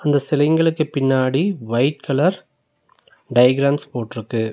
அந்த சிலைங்களுக்கு பின்னாடி வைட் கலர் டைகிராம்ஸ் போட்ருக்கு.